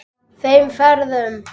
Þeim ferðum.